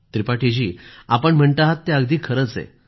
त्रिपाठी आपण म्हणता आहात ते अगदी खरंच आहे